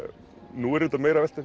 nú er ég meira að velta